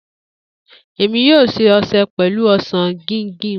Emi yoo ṣe ọṣẹ pẹlu osan guinguin.